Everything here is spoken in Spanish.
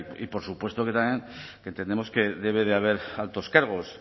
y por supuesto que también entendemos que debe de haber altos cargos